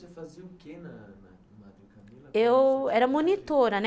Você fazia o quê na na... Eu era monitora, né?